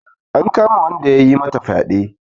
An kama wanda yayi mata fyaɗe.